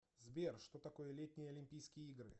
сбер что такое летние олимпийские игры